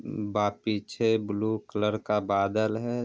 उम बा पीछे blue colour का बादल है ।